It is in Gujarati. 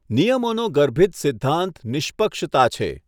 નિયમોનો ગર્ભિત સિધ્ધાંત નિષ્પક્ષતા છે.